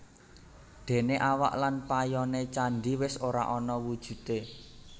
Déné awak lan payoné candhi wis ora ana wujudé